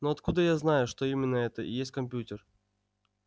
но откуда я знаю что именно это и есть компьютер